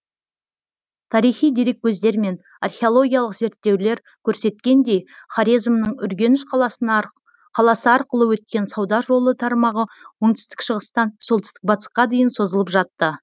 тарихи дереккөздер мен археологиялық зерттеулер көрсеткендей хорезмнің үргеніш қаласы арқылы өткен сауда жол тармағы оңтүстік шығыстан солтүстік батысқа дейін созылып жатты